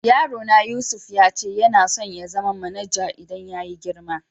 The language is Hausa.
Yaro na Yusuf ya ce yana son zama manajar idan ya yi girma.